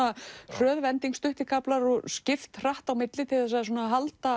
hröð vending stuttir kaflar og skipt hratt á milli til að halda